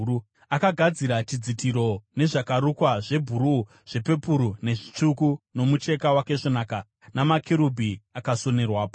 Akagadzira chidzitiro nezvakarukwa zvebhuruu, zvepepuru, nezvitsvuku nomucheka wakaisvonaka, namakerubhi akasonerwapo.